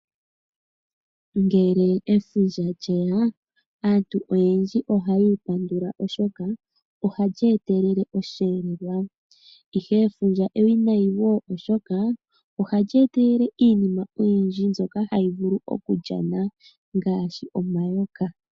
Ngele efundja lyeya aantu oyendji ohaya ipandula oshoka ohalyi etelele osheendja, ihe efundja ewinayi wo oshoka ohali etelele iinima oyindji mbyoka hayi vulu okulyana ngaashi omayoka.